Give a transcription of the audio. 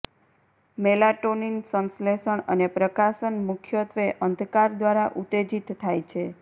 melatonin સંશ્લેષણ અને પ્રકાશન મુખ્યત્વે અંધકાર દ્વારા ઉત્તેજિત થાય છે